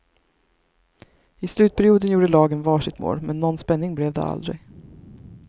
I slutperioden gjorde lagen var sitt mål, men någon spänning blev det aldrig.